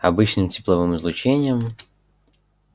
обычным тепловым излучением